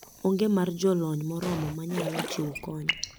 Onge mar jolony moromo manyalo chiwo kony